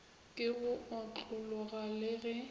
ke go otlologa le ge